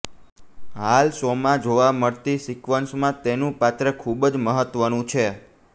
હાલ શોમાં જોવા મળતી સિકવન્સમાં તેનું પાત્ર ખૂબ જ મહત્ત્વનું છે